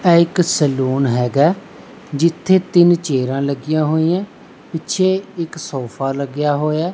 ਆ ਇੱਕ ਸਲੂਨ ਹੈਗਾ ਜਿੱਥੇ ਤਿੰਨ ਚੇਅਰਾਂ ਲੱਗੀਆਂ ਹੋਈਆਂ ਪਿੱਛੇ ਇਕ ਸੋਫਾ ਲੱਗਿਆ ਹੋਇਆ।